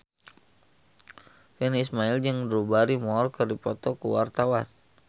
Virnie Ismail jeung Drew Barrymore keur dipoto ku wartawan